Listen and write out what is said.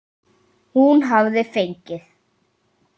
Hún hafði fengið